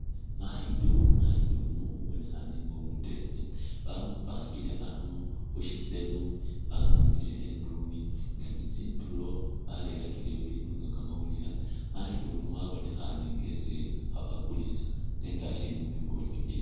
Mayido, mayido ono abonekhaane nga umuteekhe bamupangile ano khushiselo bamwimisile indumi nga ne tsindulo barerakileyo ibindu nga kamawulile, mayido uno wabonekhaane nga esi khabakuliisa nenga asiili mubikhobolyo bye